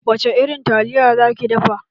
Wace irin taliya za ki dafa?